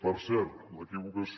per cert l’equivocació